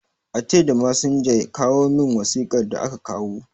A ce da masinja, ya kawo min wasiƙar da aka kawo